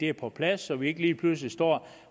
er på plads så vi ikke lige pludselig står